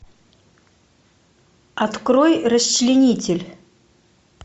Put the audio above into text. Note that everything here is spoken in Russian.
открой расчленитель